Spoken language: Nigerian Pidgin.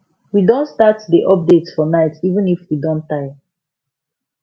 we don start dey update for night even if we don tire